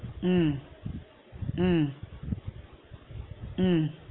உம் உம் உம்